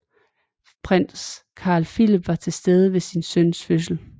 Prins Carl Phillip var til stede ved sin søns fødsel